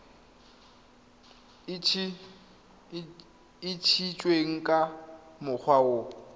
e ntshitsweng ka mokgwa o